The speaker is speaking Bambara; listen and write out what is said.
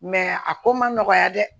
a ko ma nɔgɔya dɛ